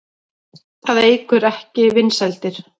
Það eykur ekki vinsældir.